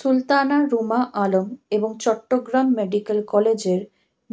সুলতানা রুমা আলম এবং চট্টগ্রাম মেডিক্যাল কলেজের